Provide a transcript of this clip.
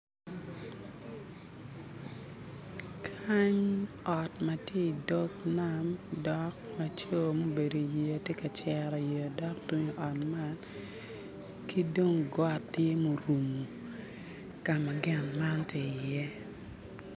Kany ot matye i dog nam dok laco mubedo tye ka cero yeya dok tung i ot man ki dong got tye murumo ka ma gin man tye iye